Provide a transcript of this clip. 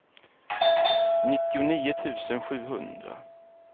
nittionio tusen sjuhundra